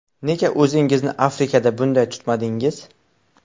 Nega o‘zingizni Afrikada bunday tutmadingiz?!